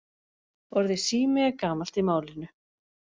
Orðið sími er gamalt í málinu.